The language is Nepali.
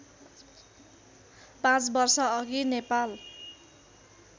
पाँच वर्षअघि नेपाल